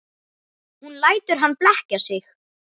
Hún lætur hann blekkja sig.